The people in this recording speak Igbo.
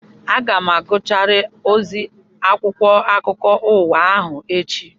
Aga m agụcharụ ozi akwụkwọ akụkọ ụwa ahụ echi